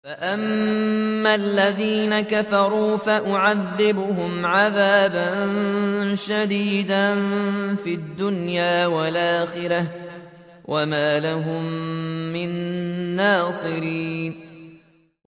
فَأَمَّا الَّذِينَ كَفَرُوا فَأُعَذِّبُهُمْ عَذَابًا شَدِيدًا فِي الدُّنْيَا وَالْآخِرَةِ وَمَا لَهُم مِّن نَّاصِرِينَ